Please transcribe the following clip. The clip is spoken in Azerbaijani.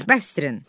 Bəsdirin!